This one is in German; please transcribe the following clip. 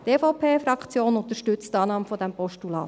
Die EVP-Fraktion unterstützt die Annahme dieses Postulats.